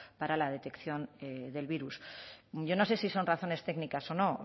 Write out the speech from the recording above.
para la detección del virus yo no sé si son razones técnicas o no